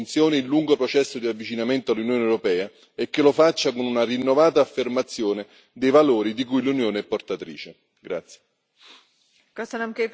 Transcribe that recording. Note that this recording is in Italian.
Mi auguro che il paese continui con convinzione il lungo processo di avvicinamento all'Unione europea e che lo faccia con una rinnovata affermazione dei valori di cui l'Unione è portatrice.